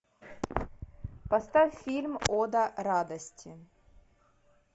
поставь фильм ода радости